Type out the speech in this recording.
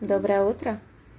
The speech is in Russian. доброе утро